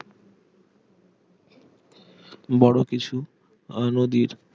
বড় কিছু আহ নদীর